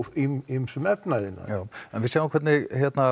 ýmsum efnaiðnaði en við sjáum hvernig